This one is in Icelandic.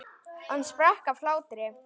Hann sprakk af hlátri.